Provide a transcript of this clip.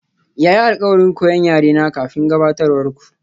Ya yi alkawarin koyan yarena kafin gabatarwar ku.